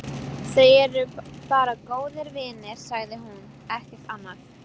Þau eru bara góðir vinir, sagði hún, ekkert annað.